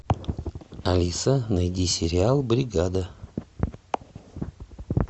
алиса найди сериал бригада